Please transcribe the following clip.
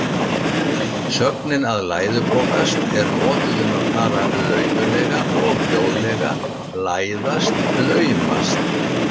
Sögnin að læðupokast er notuð um að fara laumulega og hljóðlega, læðast, laumast.